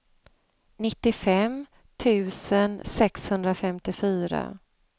nittiofem tusen sexhundrafemtiofyra